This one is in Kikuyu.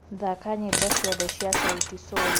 thaka nyĩmbo cĩothe cĩa sauti sol